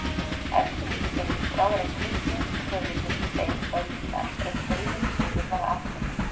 Elstu lýsingar eru skráðar af kristnum höfundum tveim öldum eftir að heiðinn siður var afnuminn.